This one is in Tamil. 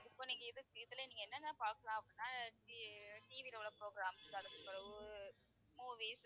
இப்ப நீங்க இது இதுல நீங்க என்னென்ன பார்க்கலாம் அப்படின்னா அஹ் t~ TV ல உள்ள programs அதுக்கு பிறகு movies